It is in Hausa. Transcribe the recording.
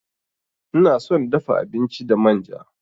Ina son dafa abinci da manja.